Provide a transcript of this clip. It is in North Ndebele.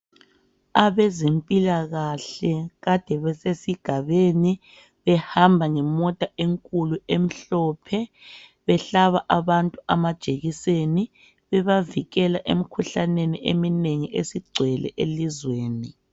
Abezempilakahle kade besesigabeni. Behamba ngemota enkulu emhlophe, behlaba abantu amajekiseni, bebavikela emkhuhlaneni eminengi esigcwele elizweni.